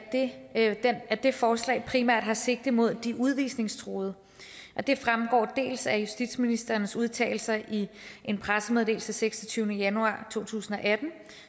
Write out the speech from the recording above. at det forslag primært har sigte mod de udvisningstruede det fremgår dels af justitsministerens udtalelser i en pressemeddelelse seksogtyvende januar to tusind og atten